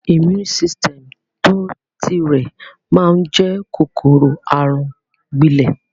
Immune system tó ti rẹ̀ máa n jẹ kòkòrò àrùn gbílẹ́